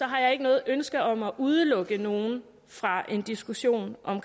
har jeg ikke noget ønske om at udelukke nogen fra en diskussion om